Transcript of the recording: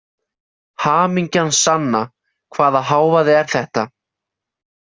Hamingjan sanna, hvaða hávaði er þetta?